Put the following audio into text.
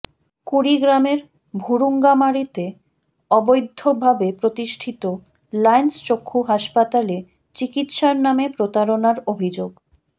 কুড়িগ্রামের ভুরুঙ্গামারীতে অবৈধ্যভাবে প্রতিষ্ঠিত লায়ন্স চক্ষু হাসপাতালে চিকিৎসার নামে প্রতারনার অভিযোগ